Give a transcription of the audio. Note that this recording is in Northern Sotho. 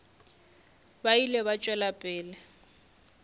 ba ile ba tšwela pele